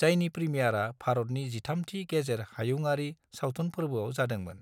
जायनि प्रीमियारआ भारतनि 13 थि गेजेर हायुंआरि सावथुन फोर्बोआव जादोंमोन।